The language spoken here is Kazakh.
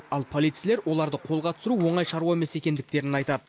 ал полицейлер оларды қолға түсіру оңай шаруа емес екендіктерін айтады